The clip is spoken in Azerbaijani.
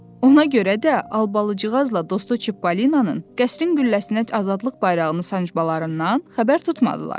Ona görə də Albalıcıqazla dostu Çippolinanın qəsrin gülləsinə azadlıq bayrağını sancmalarından xəbər tutmadılar.